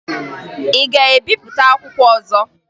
Ị ga-ebipụta akwụkwọ ọzọ?